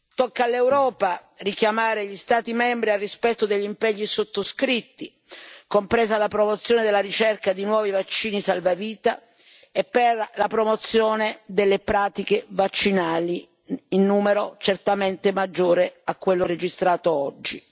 Tocca all'Europa richiamare gli Stati membri al rispetto degli impegni sottoscritti, compresa la promozione della ricerca di nuovi vaccini salvavita e la promozione delle pratiche vaccinali in numero certamente maggiore a quello registrato oggi.